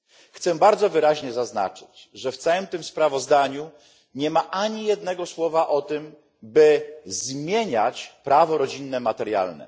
Chcę bardzo wyraźnie zaznaczyć, że w całym sprawozdaniu nie ma ani jednego słowa o tym, by zmieniać prawo rodzinne materialne.